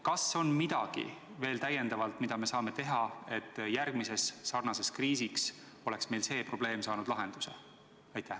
Kas on veel midagi, mida me saame teha, et järgmiseks sarnaseks kriisiks oleks see probleem saanud lahenduse?